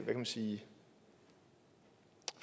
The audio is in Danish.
kan man sige